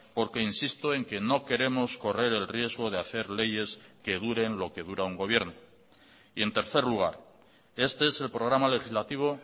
porque insisto en que no queremos correr el riesgo de hacer leyes que duren lo que dura un gobierno y en tercer lugar este es el programa legislativo